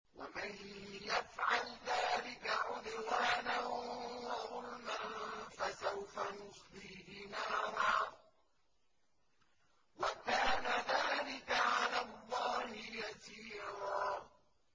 وَمَن يَفْعَلْ ذَٰلِكَ عُدْوَانًا وَظُلْمًا فَسَوْفَ نُصْلِيهِ نَارًا ۚ وَكَانَ ذَٰلِكَ عَلَى اللَّهِ يَسِيرًا